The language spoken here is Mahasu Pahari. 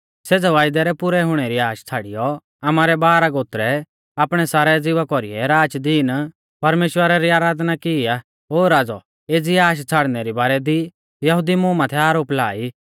सेज़ै वायदै रै पुरै हुणै री आश छ़ाड़ियौ आमारै बाराह गोत्रै आपणै सारै ज़िवा कौरीऐ राचदीन परमेश्‍वरा री आराधना की ई आ ओ राज़ौ एज़ी आश छ़ाड़नै री बारै दी यहुदी मुं माथै आरोप ला ई